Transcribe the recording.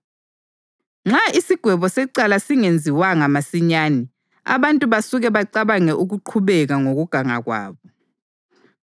Nxa isigwebo secala singenziwanga masinyane, abantu basuka bacabange ukuqhubeka ngokuganga kwabo.